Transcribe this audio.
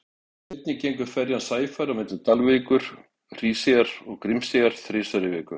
Einnig gengur ferjan Sæfari á milli Dalvíkur, Hríseyjar og Grímseyjar þrisvar í viku.